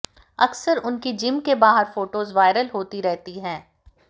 अक्सर उनकी जिम के बाहर फोटोज वायरल होती रहती हैं